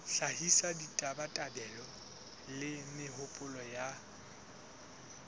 hlahisa ditabatabelo le mehopolo ya